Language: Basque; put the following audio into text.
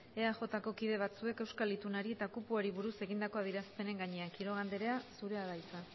eajko kide batzuek euskal itunari eta kupoari buruz egindako adierazpenen gainean quiroga anderea zurea da hitza